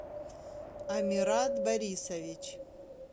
амират борисович